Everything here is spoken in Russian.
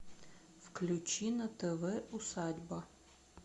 включи на тв усадьба